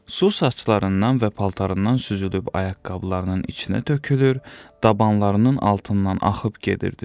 Su saçlarından və paltarından süzülüb ayaqqabılarının içinə tökülür, dabanlarının altından axıb gedirdi.